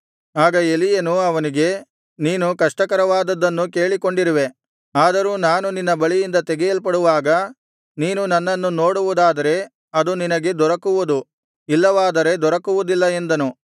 ಆಗ ಎಲೀಯನು ಅವನಿಗೆ ನೀನು ಕಷ್ಟಕರವಾದುದ್ದನ್ನು ಕೇಳಿಕೊಂಡಿರುವೆ ಆದರೂ ನಾನು ನಿನ್ನ ಬಳಿಯಿಂದ ತೆಗೆಯಲ್ಪಡುವಾಗ ನೀನು ನನ್ನನ್ನು ನೋಡುವುದಾದರೆ ಅದು ನಿನಗೆ ದೊರಕುವುದು ಇಲ್ಲವಾದರೆ ದೊರಕುವುದಿಲ್ಲ ಎಂದನು